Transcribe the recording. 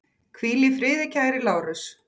Hvíl í friði kæri Lárus.